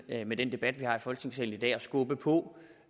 med den debat vi har i folketingssalen i dag at skubbe på